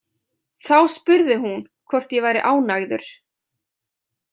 Þá spurði hún hvort ég væri ánægður.